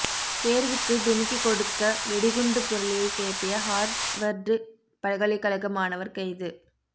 தேர்வுக்கு டிமிக்கி கொடுக்க வெடிகுண்டு புரளியை கிளப்பிய ஹார்வர்டு பல்கலைக்கழக மாணவர் கைது